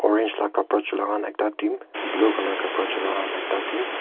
orange laga kapara chula khan ekta team blue colour kapara chula team .